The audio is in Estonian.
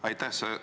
Aitäh!